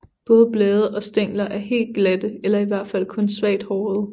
Både blade og stængler er helt glatte eller i hvert fald kun svagt hårede